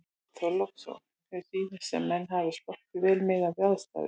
Björn Þorláksson: Þér sýnist sem menn hafi sloppið vel miðað við aðstæður?